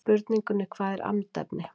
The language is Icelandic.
spurningunni hvað er andefni